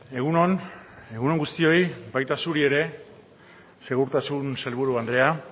egun on egun on guztioi baita zuri ere segurtasun sailburu andrea